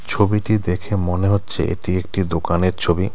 ছবিটি দেখে মনে হচ্ছে এটি একটি দোকানের ছবি.